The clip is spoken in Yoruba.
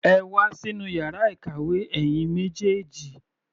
Ẹ wá sínú yàrá ìkàwé, ẹ̀yin méjèèjì.